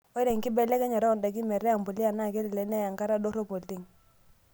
Ore enkibelekenyata oondaikin metaa empuliya naa kelek neyaa enkata dorop oleng'.